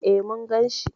E, mun gan shi.